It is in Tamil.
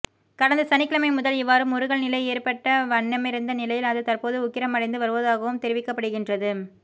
கடந்த சனிக்கிழமை முதல் இவ்வாறு முறுகல் நிலை ஏற்பட்ட வண்ணமிருந்த நிலையில் அது தற்போது உக்கிரமடைந்து வருவதாகவும் தெரிவிக்கப்படுகின்றது